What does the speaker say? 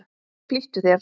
Flýttu þér!